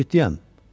Yox, ciddiyəm.